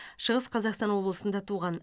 шығыс қазақстан облысында туған